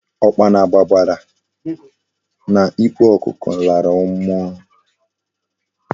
Okpana gbabara na n' ikpo okuko lara mmuo